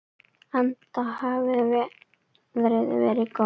Enda hafi veðrið verið gott.